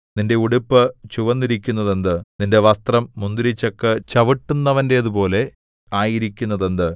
നിന്റെ ഉടുപ്പ് ചുവന്നിരിക്കുന്നതെന്ത് നിന്റെ വസ്ത്രം മുന്തിരിച്ചക്ക് ചവിട്ടുന്നവന്റേതുപോലെ ആയിരിക്കുന്നതെന്ത്